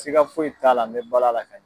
siga foyi t'a la n bɛ balo a la ka ɲɛ.